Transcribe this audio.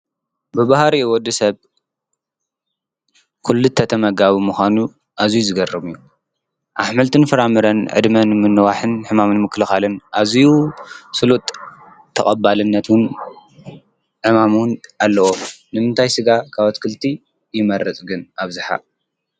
ብባህሪኡ ወዲ ሰብ ኲሉ ተመጋቡቢምዃኑ እዙይ ዝገርም እዩ፡፡ ኣሕምልትን ፍራምረን ዕድመን ንምንዋሕን ሕማም ንምክልኻልን ኣዙዩ ስሉጥ ተቐባልነትን ዕማም ውን ኣለዎ፡፡ ንምንታይ ሥጋ ካብ ኣትክልቲ ይመርፅ ግን ኣብዝሓ?